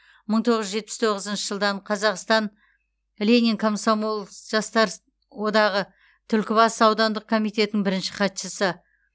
мың тоғыз жүз жетпіс тоғызыншы жылдан қазақстан ленин комсомол жастар одағы түлкібас аудандық комитетінің бірінші хатшысы